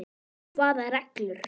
Hvaða reglur?